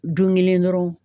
Don kelen dɔrɔn